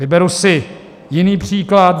Vyberu si jiný příklad.